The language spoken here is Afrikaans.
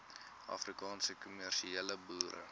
afrikaanse kommersiële boere